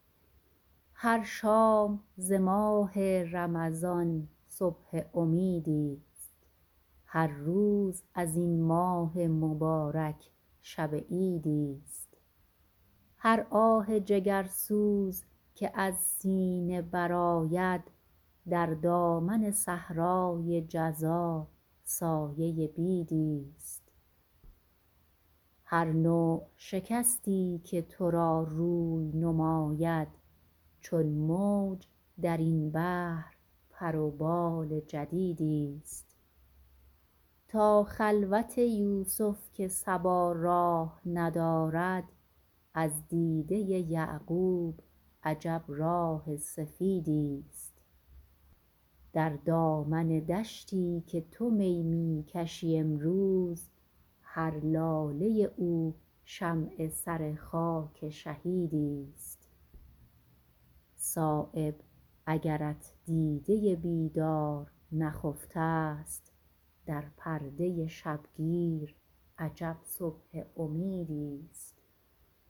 هر شام ز ماه رمضان صبح امیدی است هر روز ازین ماه مبارک شب عیدی است هر آه جگرسوز که از سینه برآید در دامن صحرای جزا سایه بیدی است هر نوع شکستی که ترا روی نماید چون موج درین بحر پر و بال جدیدی است تا خلوت یوسف که صبا راه ندارد از دیده یعقوب عجب راه سفیدی است در دامن دشتی که تو می می کشی امروز هر لاله او شمع سر خاک شهیدی است صایب اگرت دیده بیدار نخفته است در پرده شبگیر عجب صبح امیدی است